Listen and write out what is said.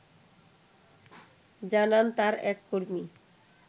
জানান তার এক কর্মী